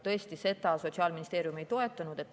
Tõesti, seda Sotsiaalministeerium ei toetanud.